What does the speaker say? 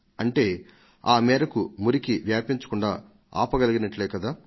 అంటే ఆ మేరకు మురికిని వ్యాపించకుండా ఆపగలిగినట్లే కదా